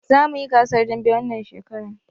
Za muyi gasar dambe wannan shekaran